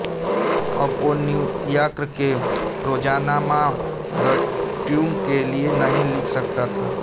अब वो न्यूयार्क के रोज़नामा द ट्रिब्यून के लिए नहीं लिख सकता था